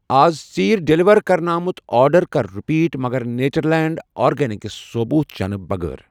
اَز ژیٖرؠ ڈیلیور کرنہٕ آمُت آرڈر کر رِپیٖٹ مگر نیچرلینٛڈ آرگینِکس ثوبوٗت چنہٕ بغار